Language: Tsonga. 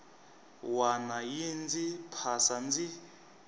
wana yi ndzi phasa ndzi